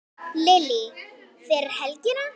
Lillý: Fyrir helgina?